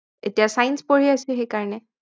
এতিয়া Science পঢ়ি আছো সেইকাৰণে